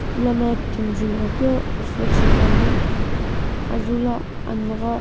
lono timi julo qo reflect ithulu ane.